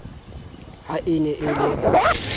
ha e ne e le